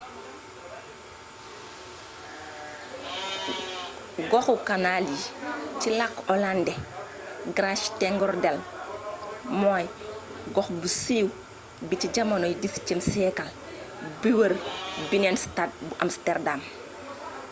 goxu kanaal yi ci lakku olàndé: grachtengordel moo gox bu siiw bi ci jamonoy xviie siyeekal bi wër binnenstad bu amsterdam